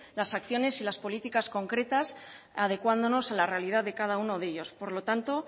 las acciones y las políticas concretas adecuándonos a la realidad de cada uno de ellos por lo tanto